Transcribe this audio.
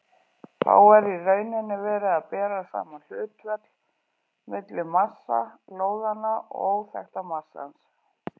Þá er í rauninni verið að bera saman hlutföll milli massa lóðanna og óþekkta massans.